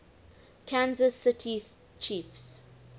kansas city chiefs